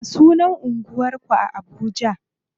Ya sunan anguwar ku a Abuja?